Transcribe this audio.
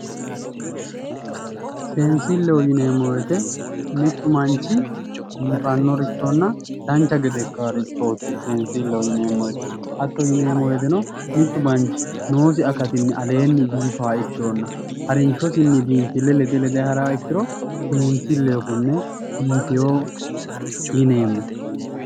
Seensilleho yineemmo woyte mittu manchi biifannorichonna dancha gede ikkannorichooti biinfilleho yineemmohu hatto yineemmo woyteno mittu manchi noosihu aleenni biifanno ikkiro